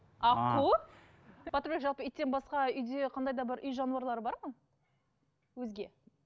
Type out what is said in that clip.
аққу батырбек жалпы иттен басқа үйде қандай да бір үй жануарлары бар ма өзге